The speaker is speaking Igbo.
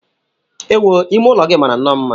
Ewu! Ime ụlọ gị mara nnọọ mma.